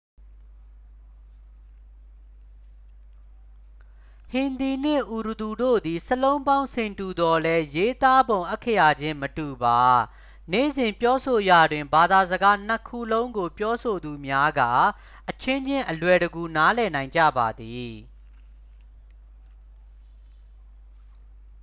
ဟင်ဒီနှင့် အူရဒူတို့သည် စာလုံးပေါင်း ဆင်တူသော်လည်း ရေးသားပုံ အက္ခရာချင်းမတူပါ နေ့စဉ် ပြောဆိုရာတွင် ဘာသာစကားနှစ်ခုလုံးကို ပြောဆိုသူများက အချင်းချင်း အလွယ်တကူ နားလည်နိုင်ကြပါသည်